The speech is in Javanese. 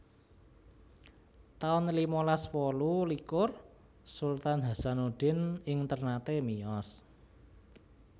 taun limalas wolu likur Sultan Hasanuddin ing Ternate miyos